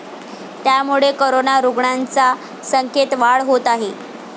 त्यामुळे कोरोना रुग्णांच्या संख्येत वाढ होत आहे.